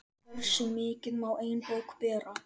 Hversu mikið má ein bók bera?